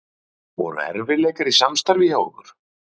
Sindri: Voru erfiðleikar í samstarfi hjá ykkur?